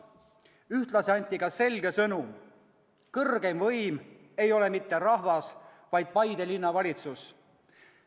Ühtlasi anti ka selge sõnum: kõrgeim võim ei ole mitte rahvas, vaid Paide Linnavalitsus.